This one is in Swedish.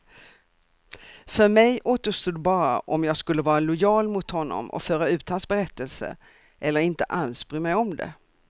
För mig återstod bara om jag skulle vara lojal mot honom och föra ut hans berättelse, eller inte alls bry mig om det.